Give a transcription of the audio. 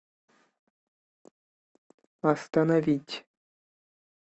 остановить